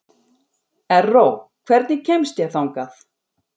Erró, hvernig kemst ég þangað?